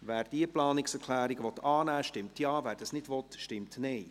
Wer diese Planungserklärung annehmen will, stimmt Ja, wer dies nicht will, stimmt Nein.